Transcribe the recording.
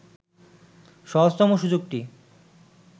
সহজতম সুযোগটি